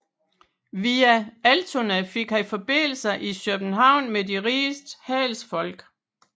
Via Altona fik han forbindelser i København med de rigeste handelsfolk